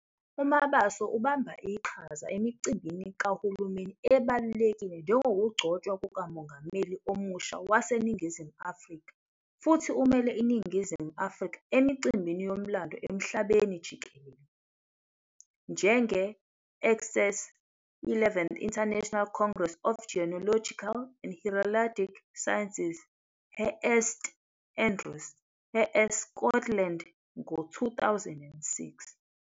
UMabaso ubamba iqhaza emicimbini kahulumeni ebalulekile njengokugcotshwa kukaMongameli omusha waseNingizimu Afrika futhi umele iNingizimu Afrika emicimbini yomlando emhlabeni jikelele, njenge-XXVIIth International Congress of Genealogical and Heraldic Sciences eSt Andrews, eScotland, ngo-2006.